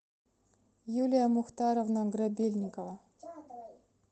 юлия мухтаровна грабельникова